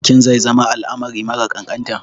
Bikin zai zama al'amari mara ƙanƙanta.